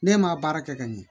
Ne ma baara kɛ ka ɲɛ